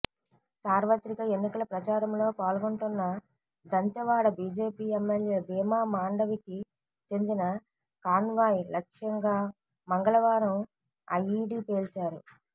సార్వత్రిక ఎన్నికల ప్రచారంలో పాల్గొంటున్న దంతెవాడ బీజేపీ ఎమ్మెల్యే భీమా మాండవికి చెందిన కాన్వాయ్ లక్ష్యంగా మంగళవారం ఐఈడీ పేల్చారు